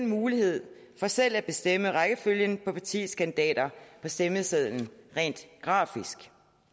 mulighed for selv at bestemme rækkefølgen på partiets kandidater på stemmesedlen rent grafisk